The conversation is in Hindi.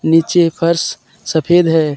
नीचे फर्श सफेद है।